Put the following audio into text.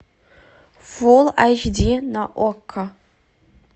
фул айч ди на окко